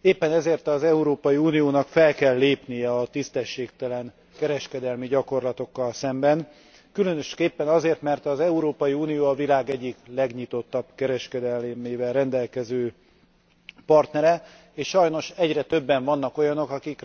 Éppen ezért az Európai Uniónak fel kell lépnie a tisztességtelen kereskedelmi gyakorlatokkal szemben, különösképpen azért, mert az Európai Unió a világ egyik legnyitottabb kereskedelmével rendelkező partner, és sajnos egyre többen vannak olyanok, akik